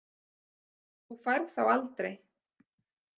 Þú færð þá aldrei.